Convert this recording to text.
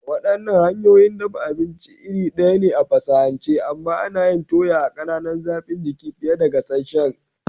Waɗannan hanyoyin dafa abinci iri ɗaya ne a fasahance, amma ana yin toya a ƙananan zafin jiki fiye da gasasshen.